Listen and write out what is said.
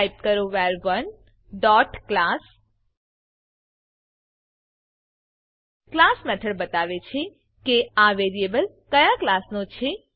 type કરો વર1 dot class class method બતાવે છે કે આ વેરીએબલ ક્યાં ક્લાસ નો છે